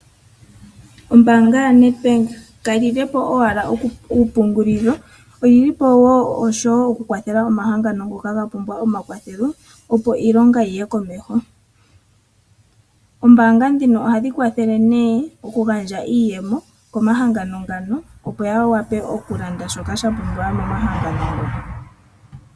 Ombaanga yoNedbank kayilile po owala okupungulila, oyili po wo oku kwathela omahangano ngono ga pumbwa omakathelo, opo iilonga yiye komeho. Oombaanga ndhino ohadhi kwathele oku gandja iiyemo komahangano ngano opo ya vule okulanda shono sha pumbiwa momahangano ngo.